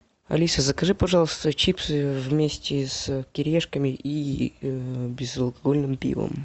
алиса закажи пожалуйста чипсы вместе с кириешками и безалкогольным пивом